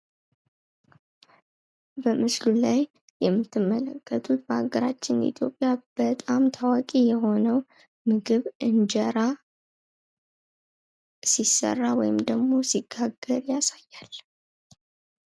በምስሉ ላይ የምንመለከተው በሀገራችን ኢትዮጵያ በጣም ታዋቂ የሆነው እንጀራ ሲስራ ወይም ሲጋገር ያሳያል።